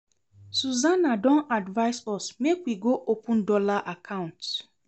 Susana don advise us make we go open dollar account